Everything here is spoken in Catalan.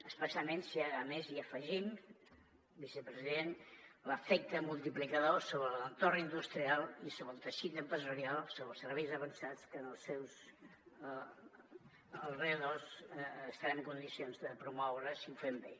especialment si a més hi afegim vicepresident l’efecte multiplicador sobre l’entorn industrial i sobre el teixit empresarial sobre els serveis avançats que en els seus voltants estarem en condicions de promoure si ho fem bé